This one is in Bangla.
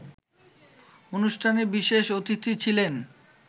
অনুষ্ঠানে বিশেষ অতিথি ছিলেন